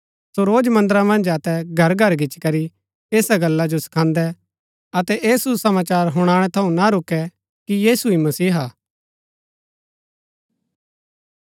सो रोज मन्दरा मन्ज अतै घरघर गिच्ची करी ऐसा गल्ला जो सखादैं अतै ऐह सुसमाचार हुणनै थऊँ ना रूकै कि यीशु ही मसीहा हा